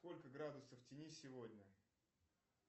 сколько градусов в тени сегодня